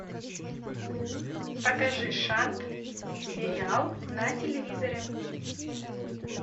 покажи шант сериал на телевизоре